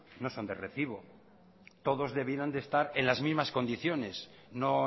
no son de recibo todos debieran estar en las mismas condiciones no